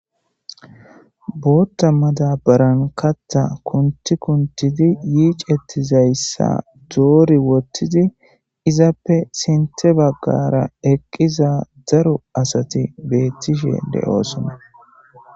bootta madabaran katta kunti kuntidi yiicettizayssa doori wottidi izappe sinte baggara eqqiza daru asati beettishe de7oosona